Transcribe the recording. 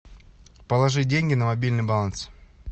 положи деньги на мобильный баланс